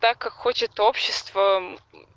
так как хочет общество